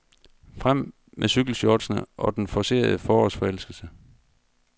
Frem med cykelshortsene og den forcerede forårsforelskelse.